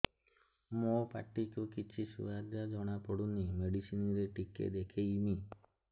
ମୋ ପାଟି କୁ କିଛି ସୁଆଦ ଜଣାପଡ଼ୁନି ମେଡିସିନ ରେ ଟିକେ ଦେଖେଇମି